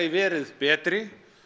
verið betri